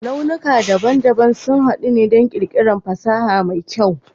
launuka daban-daban suna haɗuwa don ƙirƙirar fasaha mai kyau